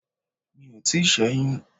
Mi ò tíì sẹ́yún.